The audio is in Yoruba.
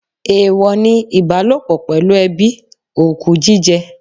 Èèwọ ni ìbálòpọ̀ pẹ̀lú ẹbí, òkú jíjẹ.